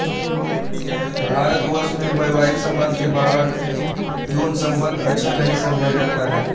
भारतवर्ष में वैवाहिक संबंध के बाहर यौनसंबंध अच्छा नहीं समझा जाता है